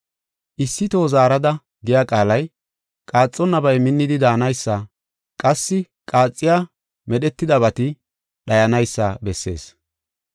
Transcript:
“Issi toho zaarada” giya qaalay qaaxonnabay minnidi daanaysa, qassi qaaxiya medhetidabati dhayanaysa bessees.